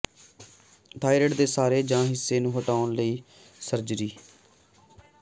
thyroid ਦੇ ਸਾਰੇ ਜਾਂ ਹਿੱਸੇ ਨੂੰ ਹਟਾਉਣ ਲਈ ਸਰਜਰੀ